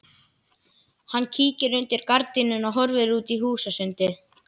Hann kíkir undir gardínuna og horfir út í húsasundið.